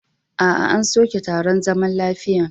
Aa, an soke taron zaman lafiyan.